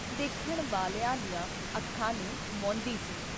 ਦੇਖਣ ਵਾਲਿਆਂ ਦੀਆਂ ਅੱਖਾਂ ਨੂੰ ਮੋਂਹਦੀ ਸੀ।